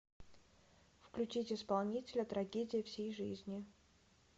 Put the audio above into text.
включить исполнителя трагедия всей жизни